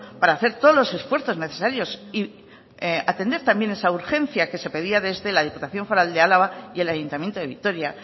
para hacer todos los esfuerzos necesarios y atender también esa urgencia que se pedía desde la diputación foral de álava y el ayuntamiento de vitoria